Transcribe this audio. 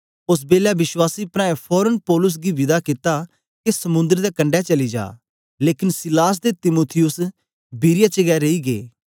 ओस बेलै विश्वासी प्राऐं फोरन पौलुस गी विदा कित्ता के समुंद्र दे कंडै चली जा लेकन सीलास ते तीमुथियुस बिरीया च गै रेई गै